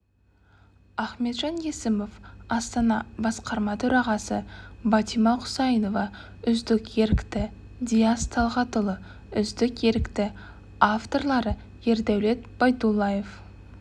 ахметжан есімов астана басқарма төрағасы батима құсайынова үздік ерікті диас талғатұлы үздік ерікті авторлары ердәулет байдуллаев